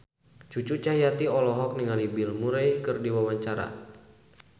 Cucu Cahyati olohok ningali Bill Murray keur diwawancara